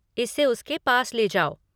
इसे उसके पास ले जाओ।